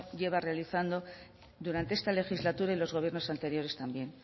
lleva realizando durante esta legislatura y los gobiernos anteriores también